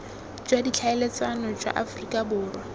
jwa ditlhaeletsano jwa aforika borwa